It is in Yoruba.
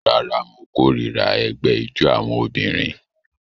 Rárá, mo kórìíra ẹgbẹ́ ijó àwọn obìnrin